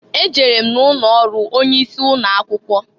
E jere m na ụnọ ọrụ onye isi ụnọ akwụkwọ.